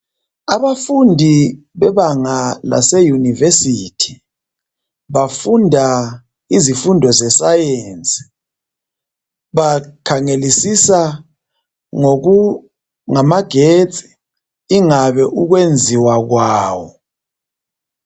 Abafundi bebanga laseyunivesithi bafunda izifundo zescience. Bakhangelisisa ngamagetsi ingabe ukwenziwa kwawo.